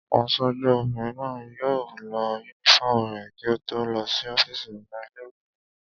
Aṣojú obìnrin náà yóò lọ yúnífọ́ọ̀mù rẹ̀ kí ó tó lọ sí ọ́fìsì ọ̀gá ilé-ìwé náà